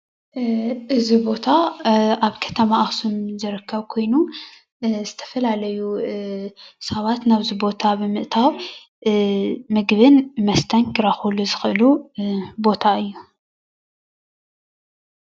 እዚ ቦታ አብ ከተማ አክሱም ዝርከብ ኮይኑ ዝተፈላለዩ ስባት ናብዚ ቦታ ብምእታዉ ምግብን መስተን ክረክቡሉ ዝክእሉ ቦታ እዩ፡፡